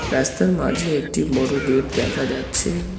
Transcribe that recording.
রাস্তার মাঝে একটি বড় গেট দেখা যাচ্ছে।